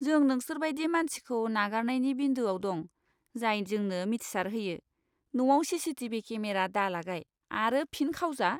जों नोंसोरबायदि मानसिखौ नागारनायनि बिन्दोआव दं, जाय जोंनो मिथिसार होयो, न'आव सीसीटिभि केमेरा दालागाय आरो फिन खावजा।